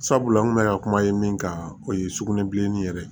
Sabula n kun bɛ ka kuma ye min kan o ye sugunɛbilennin yɛrɛ ye